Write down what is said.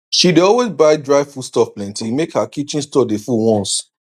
she dey always buy dry foodstuff plenty make her kitchen store dey full once